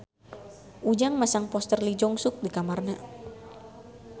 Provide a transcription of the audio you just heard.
Ujang masang poster Lee Jeong Suk di kamarna